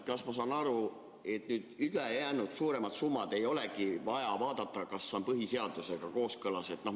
Kas ma saan õigesti aru, et nüüd ülejäänud, suuremate summade puhul ei olegi vaja vaadata, kas need on põhiseadusega kooskõlas?